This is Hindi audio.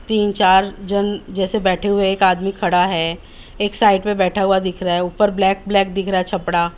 तीन चार जन जैसे बैठे हुए हैं एक आदमी खड़ा है एक साइड पे बैठा हुआ दिख रहा है ऊपर ब्लैक ब्लैक दिख रहा है छपड़ा--